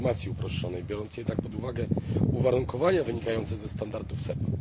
informacji uproszczonej, biorąc jednak pod uwagę uwarunkowania wynikające ze standardów SEPA.